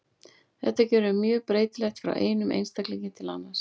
Þetta getur verið mjög breytilegt frá einum einstaklingi til annars.